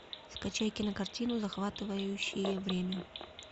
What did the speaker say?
скачай кинокартину захватывающее время